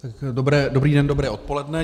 Dobrý den, dobré odpoledne.